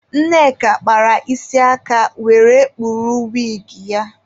Nneka kpara isi aka were kpuru wigi ya.